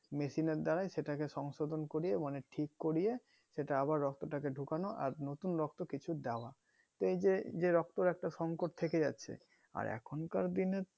machine এর দ্বারা সেটাকে সংশোধন করিয়ে মানে ঠিক করিয়ে সেটা আবার রক্ত তাকে ঢোকানো আর নতুন রক্ত আবার কিছু দেয়ার এই যে যে রক্তর একটা সংকট থেকে যাচ্ছে আর এখন কার দিনে